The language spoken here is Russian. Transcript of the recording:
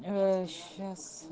сейчас